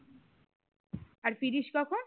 আর ফিরিশ কখন?